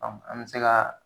an be se ka